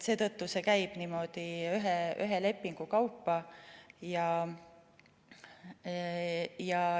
Seetõttu see käib niimoodi ühe lepingu kaupa.